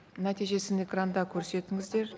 нәтижесін экранда көрсетіңіздер